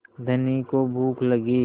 धनी को भूख लगी